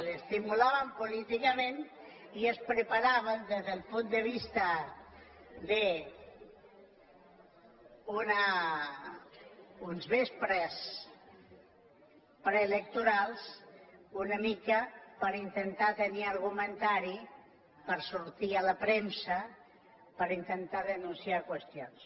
s’estimulaven política·ment i es preparaven des del punt de vista d’unes vi·gílies preelectorals una mica per intentar tenir argu·mentari per sortir a la premsa per intentar denunciar qüestions